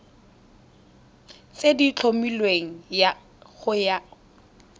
tse di tlhomilweng go ya